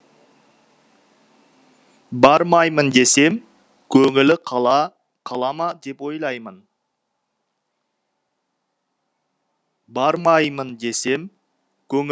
бармаймын десем көңілі қала қала ма деп ойлаймын бармаймын десем